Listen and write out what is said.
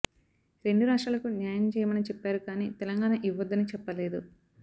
రెండు రాష్ట్రాలకూ న్యాయం చేయమని చెప్పారు కానీ తెలంగాణ ఇవ్వొద్దని చెప్పలేదు